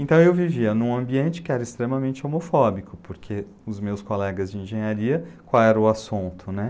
Então eu vivia num ambiente que era extremamente homofóbico, porque os meus colegas de engenharia, qual era o assunto, né?